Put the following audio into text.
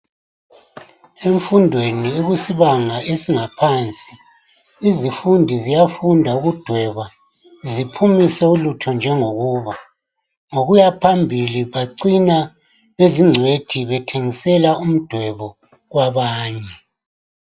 Emfundweni ekusibanga esingaphansi izifundi ziyafunda ukudweba ziphumise ulutho njengokuba. Ngokuya phambili bacina bezingcwethi bethengisela umdwebo kwabanye.